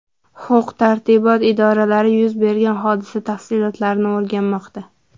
Huquq-tartibot idoralari yuz bergan hodisa tafsilotlarini o‘rganmoqda.